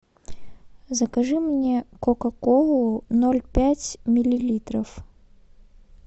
закажи мне кока колу ноль пять миллилитров